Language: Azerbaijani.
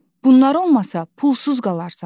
Bunlar olmasa pulsuz qalarsan.